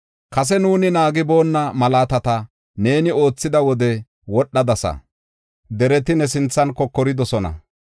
Kase nuuni naagiboonna malaatata neeni oothida wode wodhadasa; dereti ne sinthan kokoridosona.